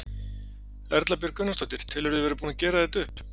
Erla Björg Gunnarsdóttir: Telurðu þig vera búinn að gera þetta upp?